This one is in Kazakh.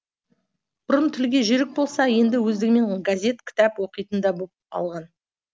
бұрын тілге жүйрік болса енді өздігімен газет кітап оқитын да боп алған